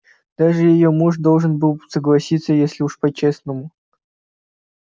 даже её муж должен был бы согласиться если уж по-честному